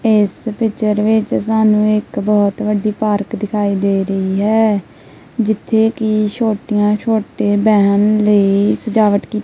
ਇੱਸ ਪਿਕਚਰ ਵਿੱਚ ਸਾਨੂੰ ਇੱਕ ਬਹੁਤ ਵੱਡੀ ਪਾਰਕ ਦਿਖਾਈ ਦੇ ਰਹੀ ਹੈ ਜਿੱਥੇ ਕੀ ਛੋਟੀਆਂ ਛੋਟੇ ਬਹਿਣ ਲਈ ਸਜਾਵਟ ਕੀਤੀ---